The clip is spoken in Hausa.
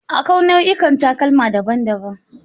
Akwai nau'ikan takalma daban-daban.